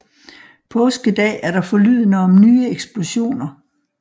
Påskedag er der forlydender om nye eksplosioner